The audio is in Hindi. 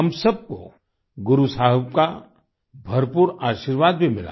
हम सब को गुरु साहिब का भरपूर आशीर्वाद भी मिला